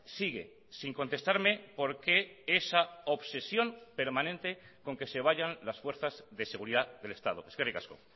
sigue sin contestarme por qué esa obsesión permanente con que se vayan las fuerzas de seguridad del estado eskerrik asko